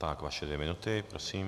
Tak vaše dvě minuty, prosím.